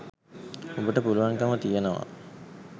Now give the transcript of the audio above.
ඔබට පුළුවන්කම තියෙනවා